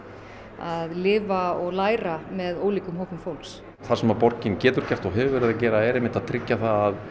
að lifa og læra með ólíkum hópum fólks það sem borgin getur gert og hefur verið að gera er einmitt að tryggja það að